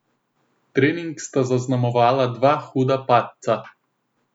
Trening sta zaznamovala dva huda padca.